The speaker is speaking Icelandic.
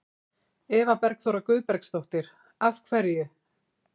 Eva Bergþóra Guðbergsdóttir: Af hverju?